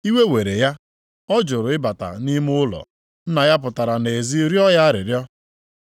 “Iwe were ya, ọ jụrụ ịbata nʼime ụlọ. Nna ya pụtara nʼezi rịọ ya arịrịọ.